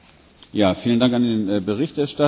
Vielen Dank an den Berichterstatter.